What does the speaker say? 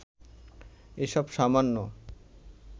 এসব সামান্য